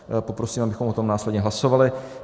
Poprosím, abychom o tom následně hlasovali.